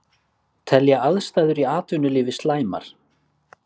Telja aðstæður í atvinnulífi slæmar